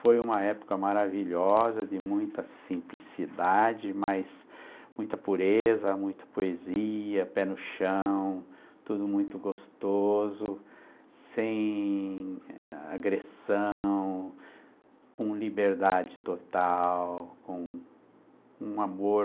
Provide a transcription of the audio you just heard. Foi uma época maravilhosa, de muita simplicidade, mas muita pureza, muita poesia, pé no chão, tudo muito gostoso, sem agressão, eh, com liberdade total, com um amor,